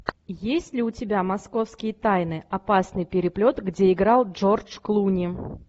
есть ли у тебя московские тайны опасный переплет где играл джордж клуни